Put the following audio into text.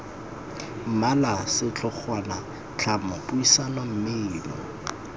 mmala setlhogwana tlhamo puisano mmino